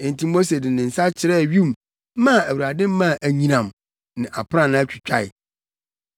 Enti Mose de ne nsa kyerɛɛ wim maa Awurade maa anyinam ne aprannaa twitwae.